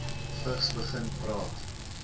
vigs begin praat